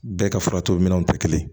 Bɛɛ ka fura to minɛnw tɛ kelen ye